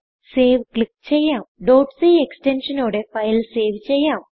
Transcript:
save click ചെയ്യാം c extensionനോടെ ഫയൽ സേവ് ചെയ്യാം